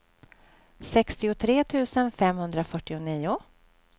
sextiotre tusen femhundrafyrtionio